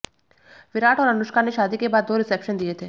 विराट और अनुष्का ने शादी के बाद दो रिसेप्शन दिए थे